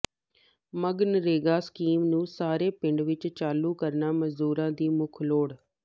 MGNREGA scheme ਨੂੰ ਸਾਰੇ ਪਿੰਡਾਂ ਵਿਚ ਚਾਲੂ ਕਰਨਾ ਮਜ਼ਦੂਰਾਂ ਦੀ ਮੁੱਖ ਲੋੜ